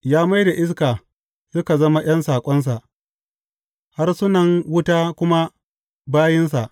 Ya mai da iska suka zama ’yan saƙonsa harsunan wuta kuma bayinsa.